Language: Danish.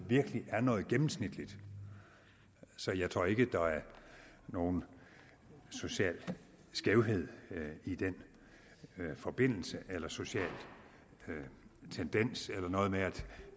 virkelig er noget gennemsnitligt så jeg tror ikke der er nogen social skævhed i den forbindelse eller nogen social tendens eller noget med at